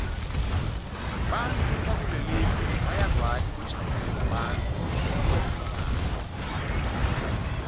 bantfu bakulelive bayakwati kujabulisa bantfu ngekulingisana